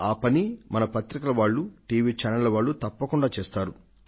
ఆ పని మన పత్రికల వాళ్లు టీవీ ఛానళ్ల వాళ్లు తప్పకుండా చేస్తారు